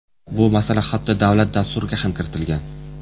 Bu masala hatto davlat Dasturiga ham kiritilgan.